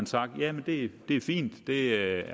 sagt at det er fint at det er